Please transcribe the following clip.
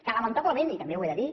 que lamentablement i també ho he de dir